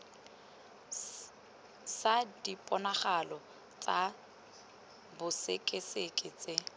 sa diponagalo tsa bosekaseki tse